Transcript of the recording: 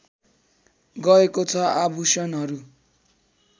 गएको छ आभूषणहरू